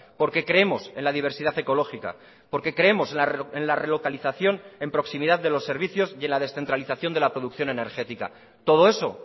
porque creemos en la diversidad ecológica porque creemos en la relocalización en proximidad de los servicios y en la descentralización de la producción energética todo eso